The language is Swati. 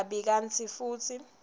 kabi kantsi futsi